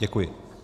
Děkuji.